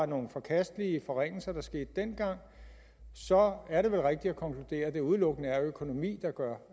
nogle forkastelige forringelser der skete dengang er det vel rigtigt at konkludere at det udelukkende er økonomi der gør